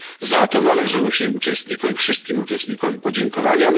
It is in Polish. Za to należą się uczestnikom wszystkim uczestnikom podziękowania.